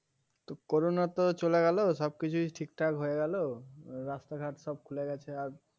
তো করোনা তো চলে গেল সব কিছুই ঠিকঠাক হয়ে গেল রাস্তাঘাট সব খুলে গেছে আর